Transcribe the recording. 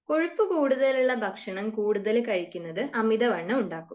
കൊഴുപ്പ് കൂടുതൽ ഉള്ള ഭക്ഷണം കൂടുതൽ കഴിക്കുന്നത് അമിതവണ്ണം ഉണ്ടാക്കും.